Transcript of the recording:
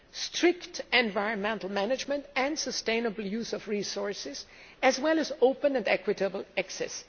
Strict environmental management and sustainable use of resources, as well as open and equitable access.